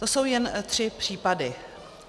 To jsou jen tři případy.